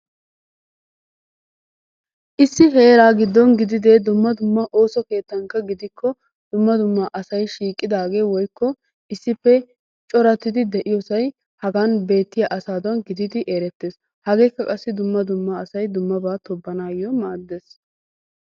Issi heeraa giddon gididee dumma dumma ooso keettaanka gidiko dumma dumma asay shiiqidagee woykko issippe coorattidi de'iyoosay hagaan beettiyaa asaadan gididi erettees. Hageekka qassi dumma dumma asay dumma dummaba toobbanassi maaddees.